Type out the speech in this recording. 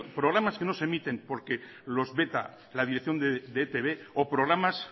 programas que no se emiten porque los veta la dirección de etb o programas